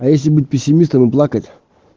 а если быть пессимистом и плакать